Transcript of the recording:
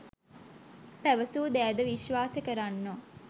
පැවසූ දෑ ද විශ්වාස කරන්නෝ